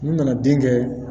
N nana den kɛ